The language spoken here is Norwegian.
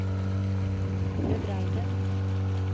bebreide